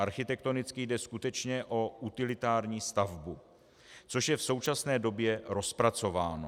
Architektonicky jde skutečně o utilitární stavbu, což je v současné době rozpracováno.